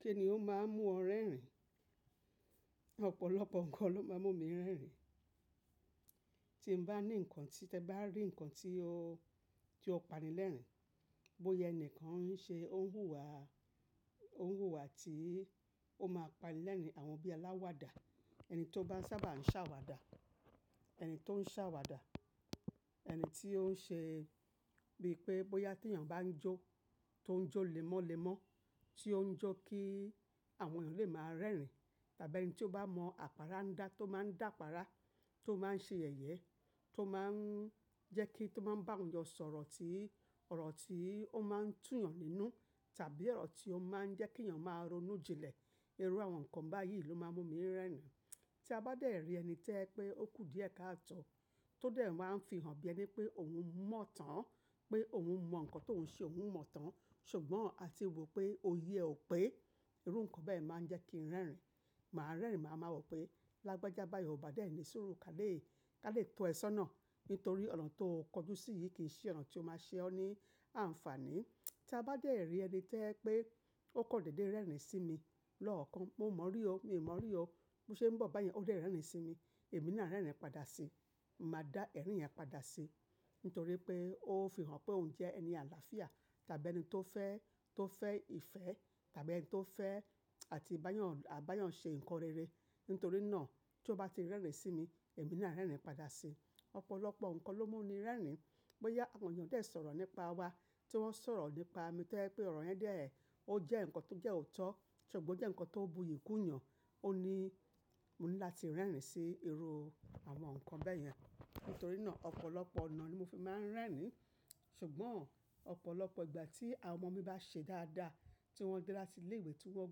Kí ni ó máa ń mú ọ rẹ́rìn? Ọ̀pọ̀lọpọ̀ nǹkan ló máa ń mú mi rẹ́rìn. Tí n bá ní nǹkan tí tẹ bá rí nǹkan tí o, tí o pani lẹ́rìn, bóyá ẹni kan ń ṣe, ó ń hùwà, ó ń hùwà tí ó máa pani lẹ́rìn, àwọn bí alawada, ẹni tí ó bá sábà ń ṣàwàdà, ẹni tó ń ṣàwàdà, ẹni tí ó ń ṣe bíi pé bóyá tí èèyàn bá ń jó, tó ń jó lemọ́lemọ́, tí ó ń jó kí àwọn èèyàn lè máa rẹ́rìn, tàbí ẹni tí ó bá mọ àpárá dá tó máa ń dàpára, tó máa ń ṣe yẹ̀yẹ, tó máa ń jẹ́ kí, tó máa ń bá àwọn èèyàn sọ̀rọ̀ tí ọ̀rọ̀ tí ó máa ń tú èèyàn nínú tàbí ọ̀rọ̀ tí ó máa ń jẹ́ kí èèyàn máa ronú jinlẹ̀. Irú àwọn nǹkan báyìí ló máa ń mú mi rẹ́rìn. Tí a bá dẹ̀ rí ẹni tẹ́ pé ó kù díẹ̀ káàtọ́ tó dẹ̀ máa ń fihàn bí ẹni pé òun mọ̀ tán, pé òun mọ nǹkan tó ń ṣe, òun mọ̀ tán ṣùgbọ́n a tì wò pé òyẹ ò pé, irú nǹkan bẹ́ẹ̀ máa ń jẹ́ kí n rẹ́rìn. Màá rẹ́rìn, màá máa wò pé lágbájába bayii o ba dẹ̀ ní suru ká lè, ká lè to ẹ sọ́nà nítorí ọ̀nà tó kọjú sí yìí kì í ṣe ọ̀nà tí ó máa ṣe ọ́ ní àǹfàní. Tí a bá dẹ̀ rí ẹni tẹ́ pé ó kọ̀ dédé rẹ́rìn-ín sí mi lọ́ọ̀kan, mo mọ rí o, mi ò mọ rí o. Bí ó ṣe ń bọ̀ báyẹn ó dẹ̀ rẹ́rìn-ín sí mi, èmi náà rẹ́rìn-ín padà sí i. Màá dá ẹ̀rín yẹn padà sí i nítorí pé ó fi hàn pé òun jẹ́ ẹni àlàáfíà tàbí ẹni tó fẹ́, tó fẹ́ ìfẹ́ tàbí ẹni tó fẹ́ àti bá yàn, bá yàn ṣe nǹkan rere. Nítorí náà tí ó bá ti rẹ́rìn-ín sí mi, èmi náà rẹ́rìn-ín padà sí i. Ọ̀pọ̀lọpọ̀ nǹkan ló mú mi rẹ́rìn. Bóyá àwọn èèyàn dẹ̀ ń sọ̀rọ̀ nípa wa, tí wọ́n ń sọ̀rọ̀ nípa mi tẹ́ pé ọ̀rọ̀ yẹn dẹ̀, ó jẹ́ nǹkan tó jẹ́ òótọ́ ṣùgbọ́n ó jẹ́ nǹkan tó ń buyì kú yàn, ó ní mo ní láti rẹ́rìn-ín sí irú àwọn nǹkan bẹ́ẹ̀ yẹn. Nítorí náà ọ̀pọ̀lọpọ̀ ọ̀nà ni mo fi máa ń rẹ́rìn-ín ṣùgbọ́n ọ̀pọ̀lọpọ̀ ìgbà tí àwọn ọmọ mi bá ṣe dáadáa, tí wọ́n dé láti ilé ìwé tí wọ́n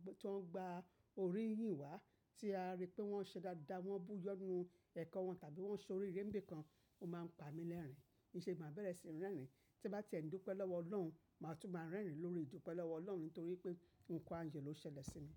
gba, tí wọ́n gba orí yìnyín wá tí a rí pé wọ́n ṣe dáadáa, wọ́n buyọ́nu ẹ̀kọ́ wọn tàbí wọ́n ṣe orí Ìré nibi kan, ó máa ń pa mi lẹ́rìn-ín. Íṣe máa bẹ̀rẹ̀ sí n rẹ́rìn-ín. Tí bá ti ẹ̀dùnpẹ́ lọ́wọ́ Ọlọ́run, màá tún máa rẹ́rìn-ín lórí ìdúpẹ́ lọ́wọ́ Ọlọ́run nítorí pé nǹkan ayo ló ṣẹlẹ̀ sí mi.